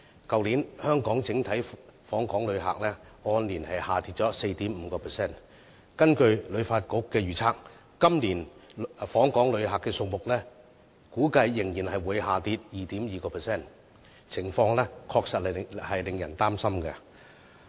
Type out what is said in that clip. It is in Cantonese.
去年香港整體訪港旅客數字按年下跌 4.5%， 而根據香港旅遊發展局的預測，今年訪港旅客的數字估計仍會下跌 2.2%， 情況確實令人擔心。